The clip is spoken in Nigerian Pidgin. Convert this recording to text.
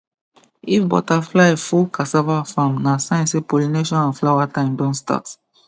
if butterfly full cassava farm na sign say pollination and flower time don start